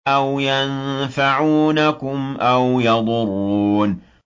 أَوْ يَنفَعُونَكُمْ أَوْ يَضُرُّونَ